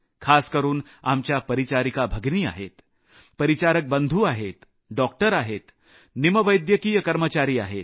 खासकरून आमच्या परिचारिका भगिनी आहेत परिचारिकांची कामं करणारे भाऊ आहेत डॉक्टर आहेत निमवैद्यकीय कर्मचारी आहेत